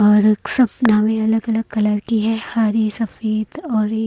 अलग अलग कलर की है हरी सफेद और--